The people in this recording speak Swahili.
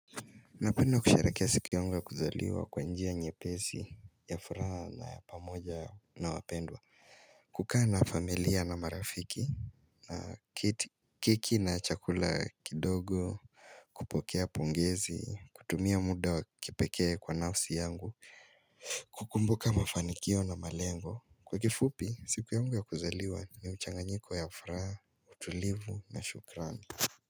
Napenda kusherehekea siku yangu ya kuzaliwa kwa njia nyepesi ya furaha na pamoja na wapendwa kukaa na familia na marafiki na kiki na chakula kidogo kupokea pongezi, kutumia muda wakipekee kwa nausi yangu kukumbuka mafanikio na malengo Kwa kifupi, siku yangu ya kuzaliwa ni uchanganyiko ya furaha, utulivu na shukrani.